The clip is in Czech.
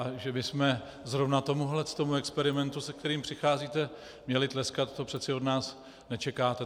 A že bychom zrovna tomuhle tomu experimentu, se kterým přicházíte, měli tleskat, to přece od nás nečekáte.